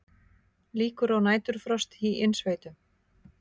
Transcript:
Líkur á næturfrosti í innsveitum